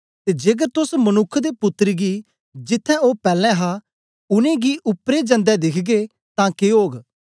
ते जेकर तोस मनुक्ख दे पुत्तर गी जिथें ओ पैलैं हा उनेंगी उपरेई जनदे दिखगे तां के ओग